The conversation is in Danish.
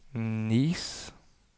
Nice